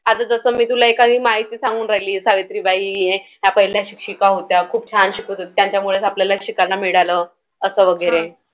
आता जसं मी तुला एखादी माहिती सांगून राहिली. सावित्रीबाई या पहिल्या शिक्षिका होत्या. खूप छान शिकवायच्या. त्यांच्यामुळेच आपल्याला शिकायला मिळालं. असं वगैरे.